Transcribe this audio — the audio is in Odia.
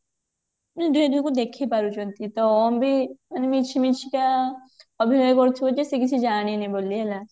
ଦୁହେଁ ଦୁହିଁକୁ ଦେଖି ପାରୁଛନ୍ତି ତ ଓମ ଭି ମାନେ ମିଛି ମିଛିକା ଅଭିନୟ କରୁଥିବ ଯେ ସେ କିଛି ଜାଣିନି ବୋଲି ହେଲା